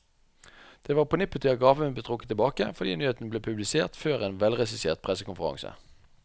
Det var på nippet til at gaven ble trukket tilbake, fordi nyheten ble publisert før en velregissert pressekonferanse.